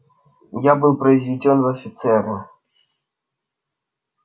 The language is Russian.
я был произведён в офицеры